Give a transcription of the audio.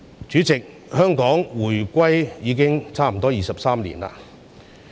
主席，香港回歸已差不多23年。